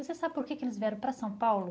Você sabe por que que eles vieram para São Paulo?